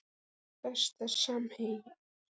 Pizza Besti samherji?